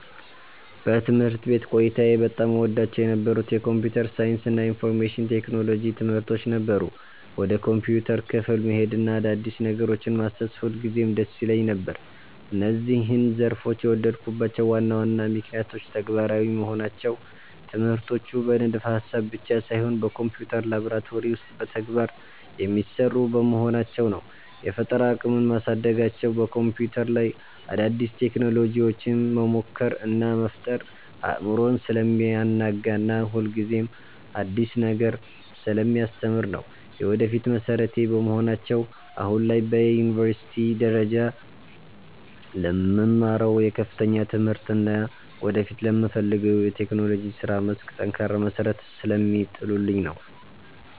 በትምህርት ቤት ቆይታዬ በጣም እወዳቸው የነበሩት የኮምፒውተር ሳይንስ እና የኢንፎርሜሽን ቴክኖሎጂ (IT) ትምህርቶች ነበሩ። ወደ ኮምፒውተር ክፍል መሄድና አዳዲስ ነገሮችን ማሰስ ሁልጊዜም ደስ ይለኝ ነበር። እነዚህን ዘርፎች የወደድኩባቸው ዋና ዋና ምክንያቶች፦ ተግባራዊ መሆናቸው፦ ትምህርቶቹ በንድፈ-ሐሳብ ብቻ ሳይሆን በኮምፒውተር ላብራቶሪ ውስጥ በተግባር (Practical) የሚሰሩ በመሆናቸው ነው። የፈጠራ አቅምን ማሳደጋቸው፦ በኮምፒውተር ላይ አዳዲስ ቴክኖሎጂዎችን መሞከር እና መፍጠር አእምሮን ስለሚያናጋና ሁልጊዜም አዲስ ነገር ስለሚያስተምር ነው። የወደፊት መሠረቴ በመሆናቸው፦ አሁን ላይ በዩኒቨርሲቲ ደረጃ ለምማረው የከፍተኛ ትምህርቴ እና ወደፊት ለምፈልገው የቴክኖሎጂ የሥራ መስክ ጠንካራ መሠረት ስለሚጥሉልኝ ነው።